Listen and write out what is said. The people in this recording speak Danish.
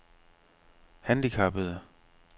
handicappede